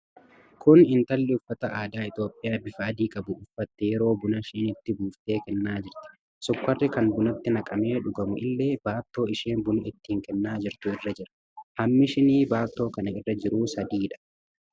Kun intalli uffata aadaa Itoophiyaa, bifa adii qabu uffatte yeroo buna shiniitti buuftee kennaa jirti. Sukkaarri kan bunatti naqamee dhugamu illee baattoo isheen buna ittiin kennaa jirtu irra jira. Hammi shinii baattoo kana irra jiruu sadiidha.